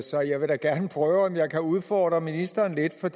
så jeg vil da gerne prøve om jeg kan udfordre ministeren lidt for